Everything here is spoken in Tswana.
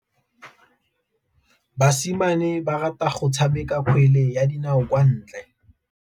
Basimane ba rata go tshameka kgwele ya dinaô kwa ntle.